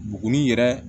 Buguni yɛrɛ